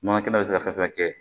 Nɔnɔ kɛnɛ bɛ se ka fɛn fɛn kɛ